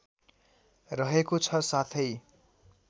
रहेको छ साथै